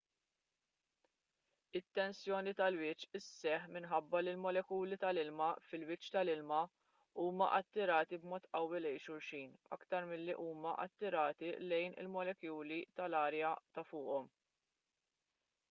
it-tensjoni tal-wiċċ isseħħ minħabba li l-molekuli tal-ilma fil-wiċċ tal-ilma huma attirati b'mod qawwi lejn xulxin aktar milli huma attirati lejn il-molekuli tal-arja ta' fuqhom